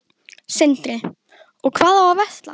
Sindri: Og hvað á að versla?